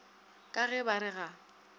ka ge ba re ga